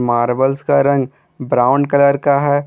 Marbles का रंग brown colour का है।